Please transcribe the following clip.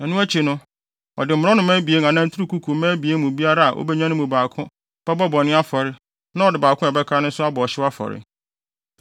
Ɛno akyi no, ɔde mmorɔnoma abien anaa nturukuku mma abien mu biara a obenya no mu baako bɛbɔ bɔne afɔre na ɔde baako a ɛbɛka no nso abɔ ɔhyew afɔre.